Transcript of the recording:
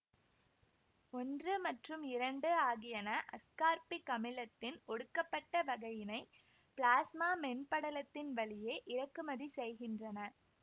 ஒன்று மற்றும் இரண்டு ஆகியன அஸ்கார்பிக் அமிலத்தின் ஒடுக்கப்பட்ட வகையினை பிளாஸ்மா மென்படலத்தின் வழியே இறக்குமதி செய்கின்றன